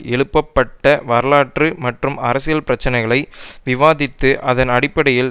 எழுப்பப்பட்ட வரலாற்று மற்றும் அரசியல் பிரச்சனைகளை விவாதித்து அதன் அடிப்படையில்